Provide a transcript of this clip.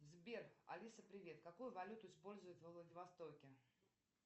сбер алиса привет какую валюту используют во владивостоке